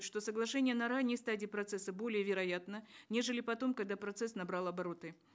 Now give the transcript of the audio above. что соглашение на ранней стадии процесса более вероятно нежели потом когда процесс набрал обороты